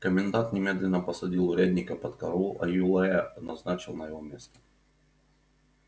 комендант немедленно посадил урядника под караул а юлая назначил на его место